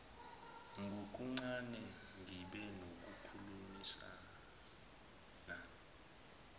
ngokuncane ngibe nokukhulumisana